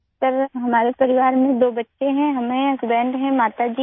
سر، ہمارے خاندان میں دو بچے ہیں، ہم ہیں، شوہر ہے، ماں ہے